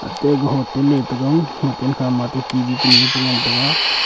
atte aga hotel kunu cha le taga hotel khama atte T_V kunu ee cha ngan taga.